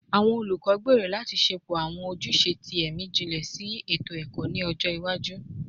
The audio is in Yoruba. Awọn olukọ gbero lati ṣepọ awọn ojuse ti ẹmi jinlẹ sinu eto-ẹkọ ni ọjọ iwaju